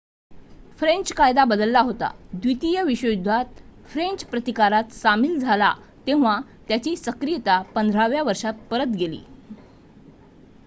French कायदा बदलला होता द्वितीय विश्वयुद्धात फ्रेंच प्रतिकारात सामील झाला तेव्हा त्याची सक्रियता 15 व्या वर्षात परत गेली